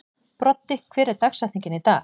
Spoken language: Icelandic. Broddi, hver er dagsetningin í dag?